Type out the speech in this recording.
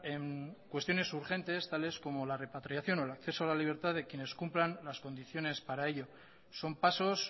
en cuestiones urgentes tales como la repatriación o el acceso de la libertad de quienes cumplan las condiciones para ello son pasos